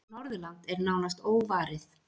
Norðurland er nánast óvarið.